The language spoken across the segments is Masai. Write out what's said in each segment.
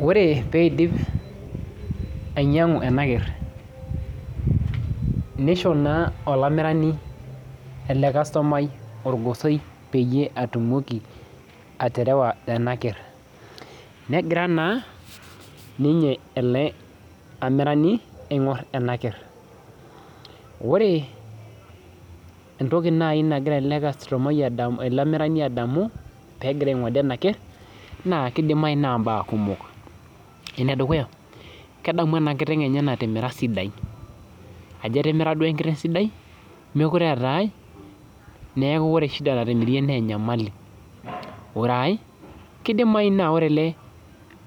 Ore peindip ainyiang'u ena ker neishoo naa olamirani ele kasutumai orgosoi peetumoki atimira ena ker negira naa ninye ele amirani aing'or ena ker ore entoki naani nagira ele tung'ani adamu peegiraa aing'ode ena ker naa keidimayu naa imbaa kumok enedukuya kedamu ena kiteng enye natimira sidai ajo etimira duo enkiteng sidai mekuree eetai neeku ore shida natimirie naa enyamali ore aae keidimayu naa ore ele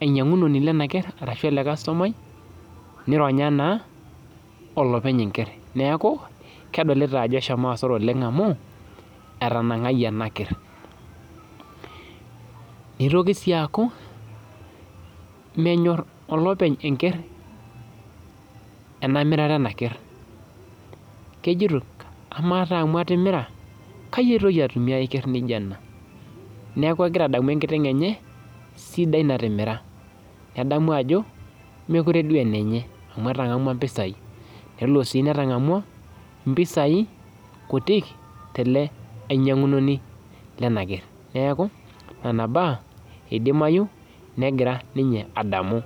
ainyiang'unoni lena ker neironya naa olopeny enker neeku kedolita ajo eshomo hasara oleng emu etanang'ayie ena ker neitoki sii aaku menyor olopeny enker ena mirata ena ker kejoito amaa taa amu atimira kayie aitoki atumie ai ker naijio ena neeku egira adamu enkiteng enye sidai natimira nedamu ajo mekure duo aa enenye amu etang'amua impisai nelo sii netang'amua impisai kutik tele ainyiang'u noni lena ker neeku nena baa eidimayu negira ninye adamu